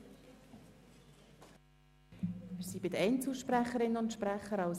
Wir sind bei den Einzelsprecherinnen und -sprechern angelangt.